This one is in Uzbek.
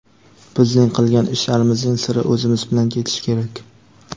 bizning qilgan ishlarimizning siri o‘zimiz bilan ketishi kerak.